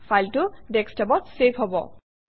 ফাইলটো desktop অত save হব